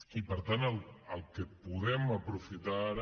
i per tant el que podem aprofitar ara